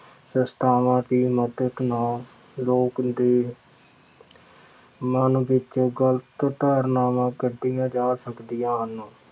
ਸੰਸਥਾਵਾਂ ਦੀ ਮਦਦ ਨਾਲ ਲੋਕਾਂ ਦੇ ਮਨ ਵਿੱਚ ਗਲਤ ਧਾਰਨਾਵਾਂ ਕੱਢੀਆਂ ਜਾ ਸਕਦੀਆ ਹਨ।